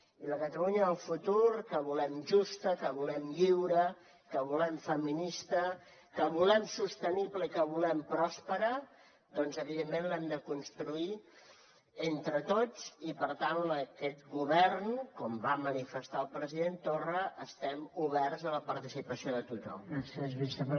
i la catalunya del futur que volem justa que volem lliure que volem feminista que volem sostenible i que volem pròspera doncs evidentment l’hem de construir entre tots i per tant en aquest govern com va manifestar el president torra estem oberts a la participació de tothom